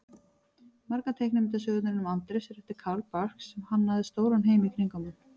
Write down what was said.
Margar teiknimyndasögurnar um Andrés eru eftir Carl Barks sem hannaði stóran heim í kringum hann.